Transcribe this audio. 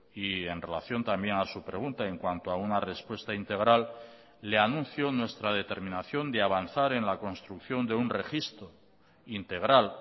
y en relación también a su pregunta en cuanto a una respuesta integral le anuncio nuestra determinación de avanzar en la construcción de un registro integral